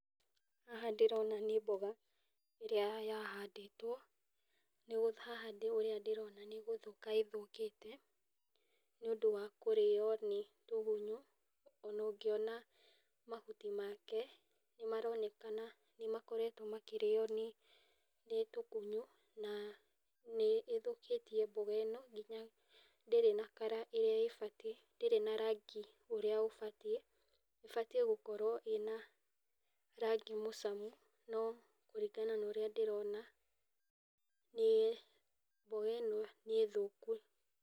Haha ndĩrona nĩ mboga , ĩrĩa ya handĩtwo. Haha ũrĩa ndĩrona nĩ gũthũka ĩthũkĩte, nĩ ũndũ wa kũrĩo nĩ tũgunyu. Ona ũngĩona mahuti make, nĩ maronekana nĩ makoretwo makĩrĩo nĩ tũgunyu, na nĩ ĩthũkĩtie mboga ĩno ndĩrĩ na [s] colour ĩrĩa ĩbatiĩ, ndĩrĩ na rangi ũrĩa ũbatiĩ, ĩbatiĩ gũkorwo ĩna rangi mũcamu. No kũringana na ũrĩa ndĩrona nĩ, mboga ĩno nĩ thũku.